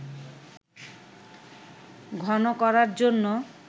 ঘন করার জন্য